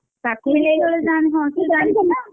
ହଁ ସେ ଜାଣିଛି ନା?